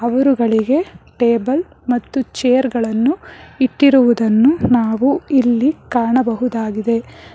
ಇವ್ರುಗಳಿಗೆ table ಮತ್ತು chair ಗಳನ್ನು ಇಟ್ಟಿರುವುದನ್ನು ನಾವು ಇಲ್ಲಿ ಕಾಣಬಹುದಾಗಿದೆ.